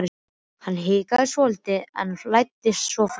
Hann hikaði svolítið en læddist svo fram.